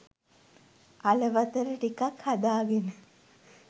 අල බතල ටිකක් හදාගෙන